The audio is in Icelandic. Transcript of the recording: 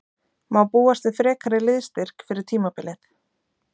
Má búast við frekari liðsstyrk fyrir tímabilið?